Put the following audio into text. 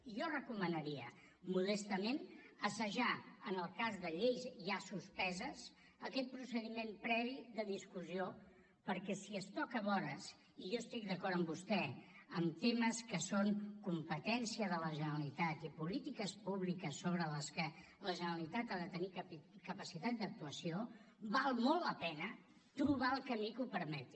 i jo recomanaria modestament assajar en el cas de lleis ja suspeses aquest procediment previ de discussió perquè si es toca vores i jo estic d’acord amb vostè amb temes que són competència de la generalitat i polítiques públiques sobre les que la generalitat ha de tenir capacitat d’actuació val molt la pena trobar el camí que ho permeti